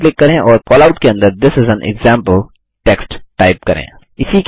double click करें और callout के अंदर थिस इस एएन एक्जाम्पल टेक्स्ट टाइप करें